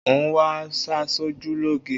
Oń wá aṣojú lóge.